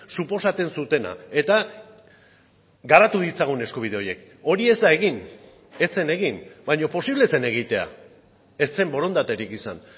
suposatzen zutena eta garatu ditzagun eskubide horiek hori ez da egin ez zen egin baina posible zen egitea ez zen borondaterik izan